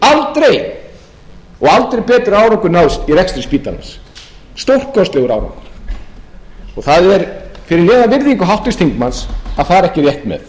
þjónustu aldrei og aldrei náðst betri árangur í rekstri spítalans stórkostlegur árangur það er fyrir neðan háttvirts þingmanns að fara ekki rétt með